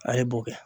A ye bo kɛ